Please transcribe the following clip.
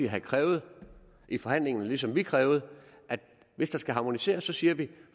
have krævet i forhandlingerne ligesom vi krævede at hvis der skal harmoniseres siger vi